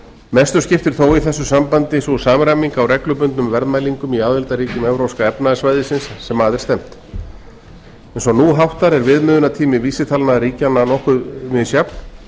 mestu skiptir þó í þessu sambandi sú samræming á reglubundnum verðmælingum á aðildarríkjum evrópska efnahagssvæðisins sem að er stefnt eins og nú háttar er viðmiðunartími vísitalna ríkjanna nokkuð misjafn